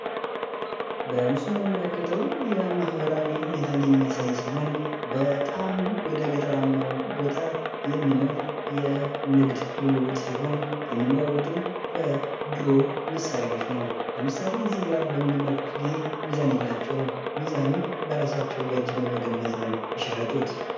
በምስሉ ላይ የምንመለክተው የማህበርዊ ሁኔታን የሚያሳይ ሲሆን በጣም ወደገጠራማው ቦታ የሚኖር የንግድ ልውውጥ ሲሆን የሚለዋውጡም በድሮ መሳሪያዎች ነው። ለምሳሌ እዚህ ጋ በምንመለክት ጊዜ ሚዛን የላቸውም። ሚዛናቸውም በራሳዎቸው በእጅ በመገመት ነው ሲሸጡት።